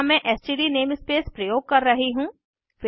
यहाँ मैं STD namespace प्रयोग कर रही हूँ